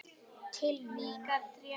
Til mín?